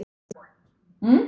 Við sváfum uppi.